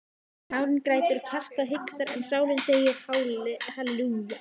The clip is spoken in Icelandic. Nárinn grætur, hjartað hikstar en sálin segir halelúja.